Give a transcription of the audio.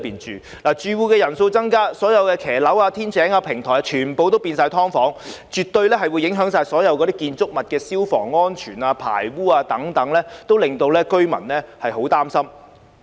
住戶人數增加，所有露台、天井、平台都改裝為"劏房"，這絕對會影響建築物的消防安全、排污等，令居民非常擔心。